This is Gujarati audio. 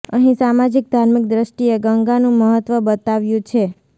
અહી સામાજીક ધાર્મિક દ્રષ્ટિએ ગંગાનુ મહત્વ બતાવ્યુ છે